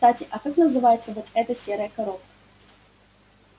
кстати а как называется вот эта серая коробка